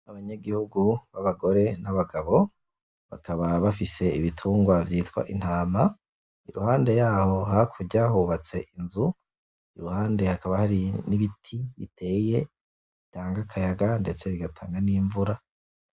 Abanyagihugu b'agababo n'abagore bakaba bafise ibitungwa vyitwa intama, iruhande yaho hakurya hubatse inzu iruhande hakaba hari n'ibiti biteye bitanga akayaga ndetse bigatanga n'imvura.